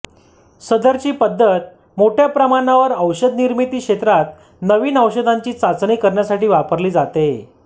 सदरची पद्धत मोठ्या प्रमाणावर औषध निर्मिती क्षेत्रात नवीन औषधांची चाचणी करण्यासाठी वापरली जाते